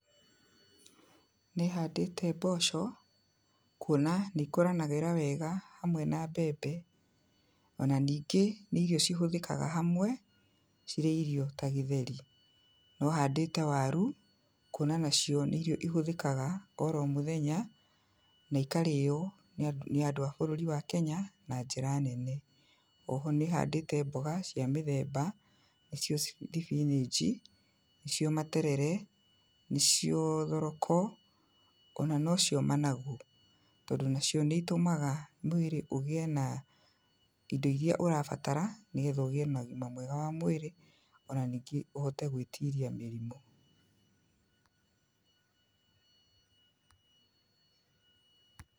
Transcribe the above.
Nĩ handĩte mboco kuona nĩ ikũranagĩra wega hamwe na mbembe. Ona ningĩ nĩ irio cihũthĩkaga hamwe cirĩ irio ta gĩtheri. Nĩ handĩte waru kuona nacio nĩ irio ihũthĩkaga oro mũthenya na ikarĩo nĩ andũ a bũrũri wa Kenya na njĩra nene. Oho nĩ handĩte mboga cia mĩthemba nĩcio nĩ thibinĩji, nĩcio materere, nĩcio thoroko ona nocio managu. Tondũ nacio nĩ itũmaga mwĩrĩ ũgĩe na indo irĩa ũrabatara nĩgetha ũgĩe na ũgima mwega wa mwĩrĩ ona ningĩ ũhote gwĩtiria mĩrimũ.